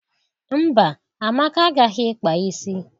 Mba, Amaka agaghị ịkpa isi.